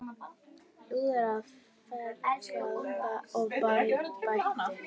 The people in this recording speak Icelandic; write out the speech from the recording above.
Hlúði að, fegraði og bætti.